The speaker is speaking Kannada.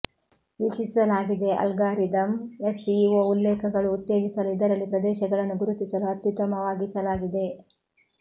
ವೀಕ್ಷಿಸಲಾಗಿದೆ ಅಲ್ಗಾರಿದಮ್ ಎಸ್ಇಒ ಉಲ್ಲೇಖಗಳು ಉತ್ತೇಜಿಸಲು ಇದರಲ್ಲಿ ಪ್ರದೇಶಗಳನ್ನು ಗುರುತಿಸಲು ಅತ್ಯುತ್ತಮವಾಗಿಸಲಾಗಿದೆ